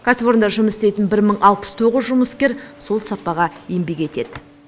кәсіпорында жұмыс істейтін бір мың алпыс тоғыз жұмыскер сол сапаға еңбек етеді